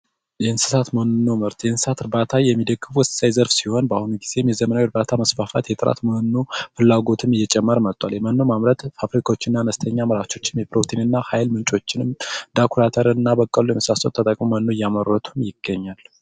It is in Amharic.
የእንስሳት መኖ ምርት : የእንስሳት እርባታ የሚደግፉ ወሳኝ ዘርፍ ሲሆን በአሁኑ ጊዜ የዘመናዊ እርባታ ማስፋፋት የጥራት መኖ ፍላጎትም እየጨመረ መቷል የመኖም ማምረት ፋብሪካወችና መለስተኛ አምራቾች የፕሮቲንና ሀይል ምንጮችን እንደ አኩሪ አተርና በቆሎ ተጠቅመዉ እያመረቱ ይገኛሉ ።